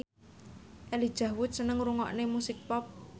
Elijah Wood seneng ngrungokne musik pop